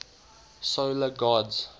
solar gods